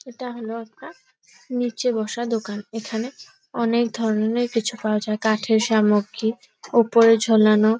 এটা হলো একটা নিচে বসা দোকান। এখানে অনেক ধরনের কিছু পাওয়া যায় কাঠের সামগ্রী ওপরে ঝোলানো --